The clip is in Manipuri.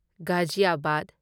ꯒꯥꯓꯤꯌꯥꯕꯥꯗ